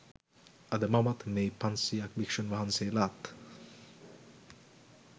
අද මමත් මේ පන්සීයක් භික්ෂූන් වහන්සේලාත්